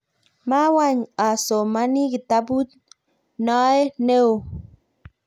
mawany asomani kitabut noe neoo